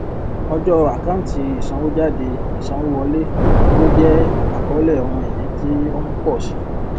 ọjọ àkáǹtí ìsanwójádeìsanwówọlé owó jẹ àkọlé ohun ìní tí o ń pọ sí